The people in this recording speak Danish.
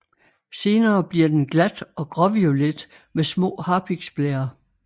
Senere bliver den glat og gråviolet med små harpiksblærer